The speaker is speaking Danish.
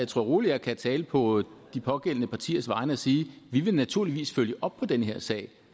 tror roligt jeg kan tale på de pågældende partiers vegne og sige vi vil naturligvis følge op på den her sag